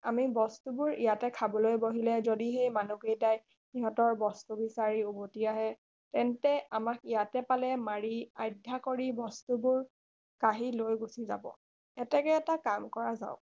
আমি বস্তুবোৰ ইয়াতে খাবলৈ বহিলে যদি সেই মানুহ কেইটাই সিহঁতৰ বস্তু বিচাৰি উভতি আহে তেন্তে আমাক ইয়াতে পালে মাৰি আয়ধ্যা কৰি মাৰি বস্তুবোৰ কাহি লৈ গুচি যাব এতেকে এটা কাম কৰা যাওক